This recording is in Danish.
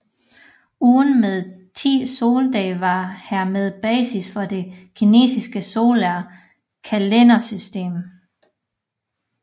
Ugen med 10 soldage var hermed basis for det kinesiske solare kalendersystem